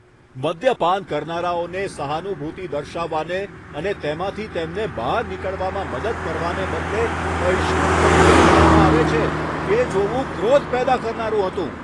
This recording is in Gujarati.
મદ્યપાન કરનારાઓને સહાનુભૂતિ દર્શાવવાને અને તેમાંથી તેમને બહાર નીકળવામાં મદદ કરવાને બદલે બહિષ્કૃત તરીકે ગણવામાં આવે છે તે જોવું ક્રોધ પેદા કરનારું હતું.